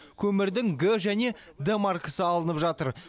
көмірдің г және д маркасы алынып жатыр